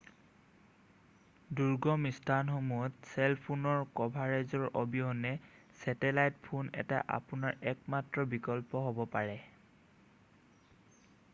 দূৰ্গম স্থানসমূহত চেল ফোনৰ কভাৰেজৰ অবিহনে ছেটেলাইত ফোন এটাই আপোনাৰ একমাত্ৰ বিকল্প হ'ব পাৰে